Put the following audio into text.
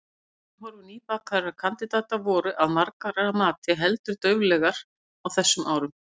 Atvinnuhorfur nýbakaðra kandidata voru, að margra mati, heldur dauflegar á þessum árum.